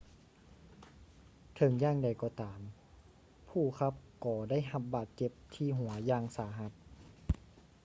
ເຖິງຢ່າງໃດກໍຕາມ ຜູ້ຂັບກໍໄດ້ຮັບບາດເຈັບທີ່ຫົວຢ່າງສາຫັດ